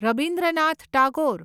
Rabindranath Tagore